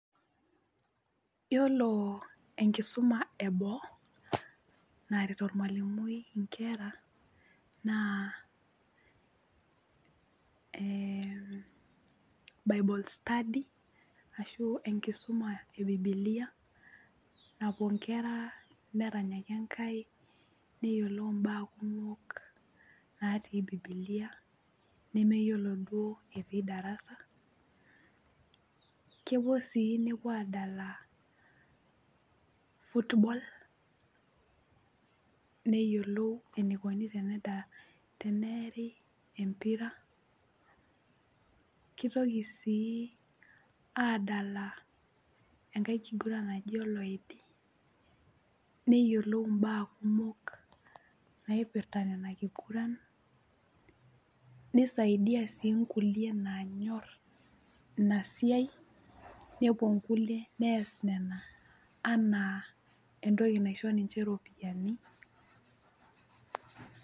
Yiolo enkisuma eboo naret ormwalimui inkera naa ee bible study ashu enkisuma ebibilia napuo nkera neranyaki enkai , neyiolou imbaa kumok natii bibilia neyiolo duo etii darasa. Kepuo sii nepuo adala football, neyiolou enikoni tenida, teneeri empira , kitoki sii adala enkae kiguran naji oloidi neyiolou imbaa kumok naipirta nena kiguran, nisaidia sii nkulie nanyor inasiai, nepuo nkulie nees nena anaa entoki naisho ninche ropiyiani.